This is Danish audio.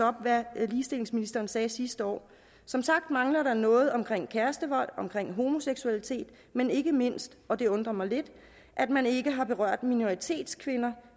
op hvad ligestillingsministeren sagde sidste år som sagt mangler der noget omkring kærestevold omkring homoseksualitet men ikke mindst og det undrer mig lidt at man ikke har berørt minoritetskvinder